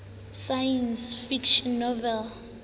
science fiction novels